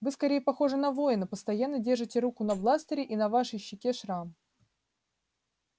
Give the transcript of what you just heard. вы скорее похожи на воина постоянно держите руку на бластере и на вашей щеке шрам